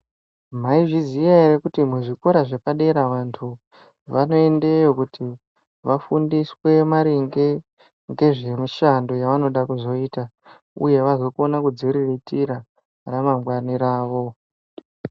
Maizviziva here kuti kuzvikora zvepadera vandu vanoendeyo kuti vafundiswe maringe ngezverushando ravanoda kuzoita uye vazozviriritira ramangwani ravo.